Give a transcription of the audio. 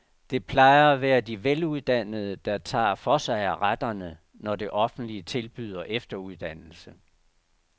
Det plejer at være de veluddannede, der tager for sig af retterne, når det offentlige tilbyder efteruddannelse.